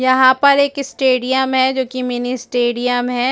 यहां पर एक स्टेडियम है जो कि मिनी स्टेडियम है।